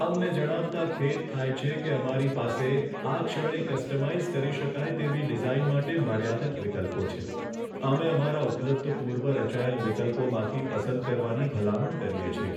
અમને જણાવતાં ખેદ થાય છે કે અમારી પાસે આ ક્ષણે કસ્ટમાઇઝ કરી શકાય તેવી ડિઝાઇન માટે મર્યાદિત વિકલ્પો છે. અમે અમારા ઉપલબ્ધ પૂર્વ રચાયેલ વિકલ્પોમાંથી પસંદ કરવાની ભલામણ કરીએ છીએ.